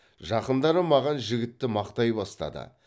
жақындары маған жігітті мақтай бастады